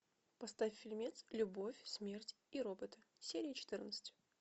поставь фильмец любовь смерть и роботы серия четырнадцать